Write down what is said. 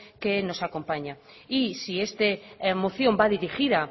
que nos acompañan y si esta moción va dirigida